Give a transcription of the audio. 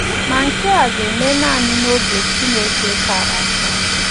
Ma nke a ga - eme nanị n’oge Chineke kara aka.